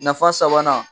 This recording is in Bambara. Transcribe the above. Nafa sabanan